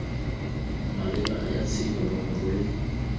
maleba ya tshenyo nomoro le